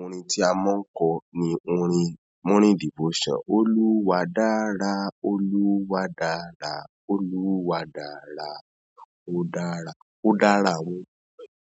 Orin tí a máa ń kọ ni orin Morning Devotion. Olúwa dára, Olúwa dára, Olúwa dára, ó dára, ó dára o.